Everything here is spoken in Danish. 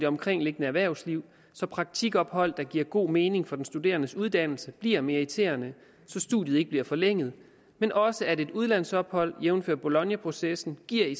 omkringliggende erhvervsliv så praktikophold der giver god mening for den studerendes uddannelse bliver meriterende så studiet ikke bliver forlænget men også at et udlandsophold jævnfør bolognaprocessen giver